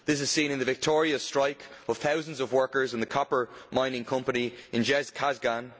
This is seen in the victorious strike of thousands of workers in the copper mining company in Zhezkazgan.